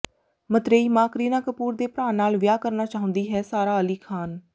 ਮਤਰੇਈ ਮਾਂ ਕਰੀਨਾ ਕਪੂਰ ਦੇ ਭਰਾ ਨਾਲ ਵਿਆਹ ਕਰਨਾ ਚਾਹੁੰਦੀ ਹੈ ਸਾਰਾ ਅਲੀ ਖ਼ਾਨ